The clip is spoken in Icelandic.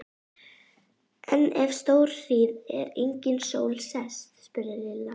En ef stórhríð er og engin sól sést? spurði Lilla.